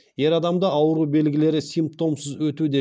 ер адамда ауыру белгілері симптомсыз өтуде